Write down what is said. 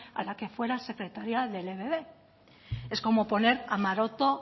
a la que fuera secretaria del ebb es como poner a maroto